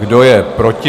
Kdo je proti?